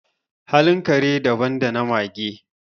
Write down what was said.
halin kare daban da na mage